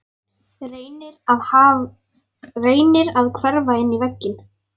Reynir að hverfa inn í vegginn.